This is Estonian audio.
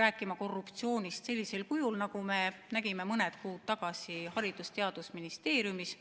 rääkima korruptsioonist sellisel kujul, nagu me nägime mõni kuu tagasi Haridus- ja Teadusministeeriumis.